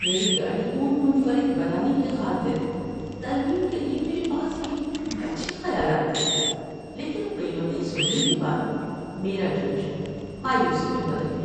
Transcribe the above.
میری گاڑی کو منفرد بنانے کی خاطر ترمیم کے لیے میرے پاس یہ اچھے خیالات تھے، لیکن قیمتیں سننے کے بعد میرا جوش مایوسی میں بدل گیا۔